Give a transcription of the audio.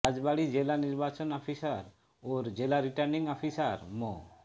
রাজবাড়ী জেলা নির্বাচন অফিসার ও জেলা রিটার্নিং অফিসার মো